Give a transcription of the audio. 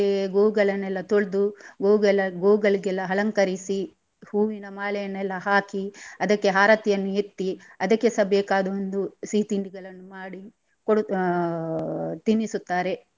ಗೋಗಳನೆಲ್ಲಾ ತೊಳ್ದು ಗೋವ್ಗಳ ಗೋಗಳಿಗೆಲ್ಲಾ ಅಲಂಕರಿಸಿ ಹೂವಿನ ಮಾಲೆಯನ್ನೆಲ್ಲಾ ಹಾಕಿ ಅದಕ್ಕೆ ಆರತಿಯನ್ನು ಎತ್ತಿ ಅದಕ್ಕೆಸ ಬೇಕಾದ ಒಂದು ಸಿಹಿ ತಿಂಡಿಗಳನ್ನು ಮಾಡಿ ಕೊಡು ಆ ತಿನ್ನಿಸುತ್ತಾರೆ.